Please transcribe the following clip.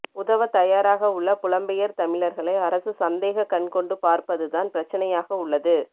உதவத் தயாராக உள்ள புலம்பெயர் தமிழர்களை அரசு சந்தேகக் கண் கொண்டு பார்ப்பது தான் பிரச்சினையாக உள்ளது